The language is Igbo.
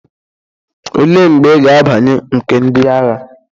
Olee mgbe ị ga-abanye nke ndị agha?